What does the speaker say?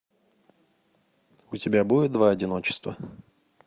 у тебя будет два одиночества